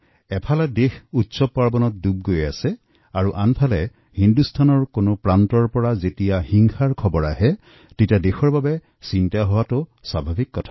এফালে দেশত উৎসৱত ডুবি আছে আৰু আনফালে ভাৰতৰ একাধিক কোণৰ পৰা হিংসাৰ দৰে খবৰ আহিলে চিন্তা হোৱাটো স্বাভাৱিক